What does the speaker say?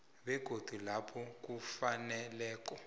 begodu lapho kufaneleko